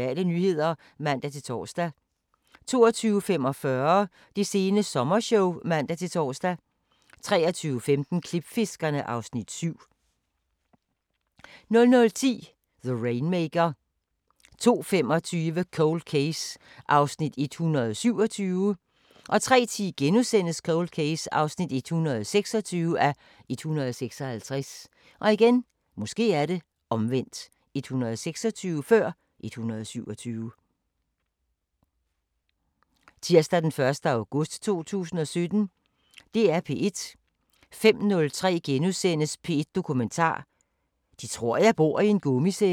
05:03: P1 Dokumentar: 'De tror jeg bor i en gummicelle' * 05:30: Radiofortællinger: Lig på bordet * 06:05: Jeg er nøgen * 10:03: Masterclasses – Peder Frederik Jensen: Autofiktion 11:03: Verden ifølge Gram: Den nye silkevej 13:03: Droner og kanoner: Honningfælder 13:33: Videnskabens Verden: Klimaforskningens historie 19:03: Jeg er nøgen * 20:03: Efterforskerne: Beskidt ferieudlejning * 20:30: Natursyn: Det sidste pip *(tir og fre)